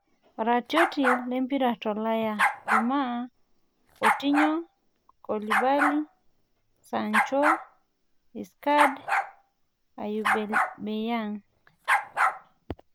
Iratiot lempira tolaya Jumaa; Kotinyo, Koulibaly. Sancho, Icardi, Aubemeyang